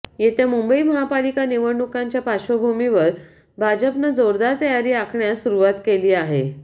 येत्या मुंबई महापालिका निवडणुकांच्या पार्श्वभूमीवर भाजपनं जोरदार तयारी आखण्यास सुरूवात केली आहे